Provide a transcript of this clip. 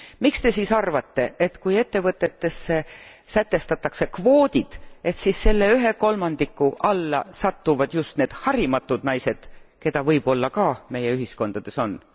Miks Te siis arvate, et kui ettevõtetesse sätestatakse kvoodid, siis selle ühe kolmandiku alla satuvad just need harimatud naised, keda võib olla ka meie ühiskondades on?